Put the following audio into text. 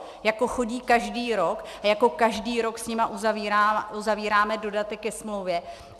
Jako chodí každý rok a jako každý rok s nimi uzavíráme dodatek ke smlouvě.